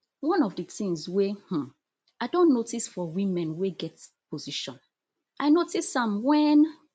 one of di tins wey um i don notice for women wey get position i notice am wen